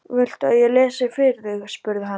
Viltu að ég lesi fyrir þig? spurði hann.